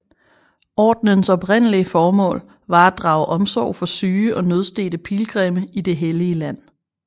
Ordenens oprindelige formål var at drage omsorg for syge og nødstedte pilgrimme i Det hellige Land